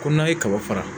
Ko n'a ye kaba fara